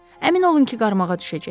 Əmin olun ki, qarmağa düşəcək.